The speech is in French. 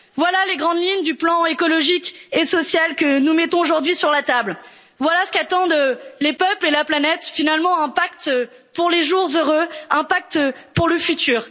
Voilà les grandes lignes du plan écologique et social que nous mettons aujourd'hui sur la table, voilà ce qu'attendent les peuples et la planète, finalement un pacte pour les jours heureux, un pacte pour le futur.